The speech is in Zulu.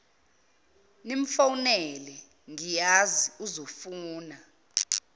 nimfowunele ngiyazi uzofuna